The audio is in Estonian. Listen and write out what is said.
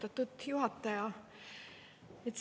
Austatud juhataja!